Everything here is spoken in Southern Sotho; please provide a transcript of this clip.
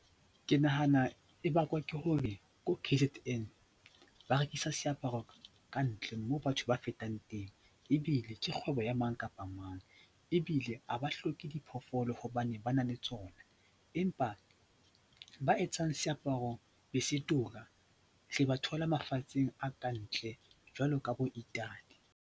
Ke nahana e bakwa ke hore ko K_Z_N ba rekisa seaparo kantle moo batho ba fetang teng ebile ke kgwebo ya mang kapa mang ebile a ba hloke diphoofolo hobane ba na le tsona, empa ba etsang seaparo be se tura re ba thola mafatsheng a kantle jwalo ka boItaly.